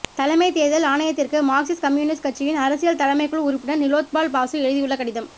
தலைமைத் தேர்தல் ஆணையத்திற்கு மார்க்சிஸ்ட் கம்யூனிஸ்ட் கட்சியின் அரசியல் தலைமைக்குழு உறுப்பினர் நிலோத்பால் பாசு எழுதியுள்ள கடிதம்